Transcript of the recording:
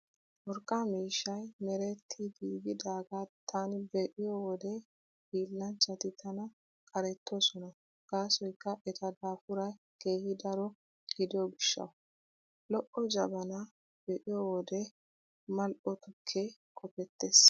Urqqa miishshay meretti giigidaagaa taani be'iyo wode hiillanchchati tana qarettoosona gaasoykka eta daafuray keehi daro gidiyo gishshawu. Lo'o jabanaa be'iyo wode Mal"o tukkee qopettees.